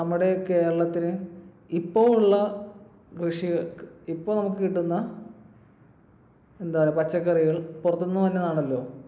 നമ്മുടെ കേരളത്തിന് ഇപ്പൊ ഉള്ള കൃഷി ഇപ്പൊ നമുക്ക് കിട്ടുന്ന എന്താ പച്ചക്കറികൾ പുറത്തുന്നു വരുന്നതാണല്ലോ